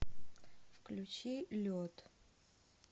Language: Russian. включи лед